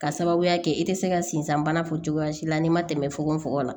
Ka sababuya kɛ i tɛ se ka sensanbana fɔ cogoya si la n'i ma tɛmɛ fugonfugon la